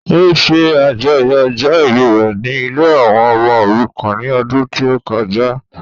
Ó ṣe àjọyọ̀ ọjọ́ ìbí rẹ ní ilée àwọn ọmọ òrukàn ní ọdún tí ó kọjá